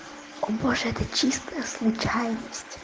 о боже это чисто случайность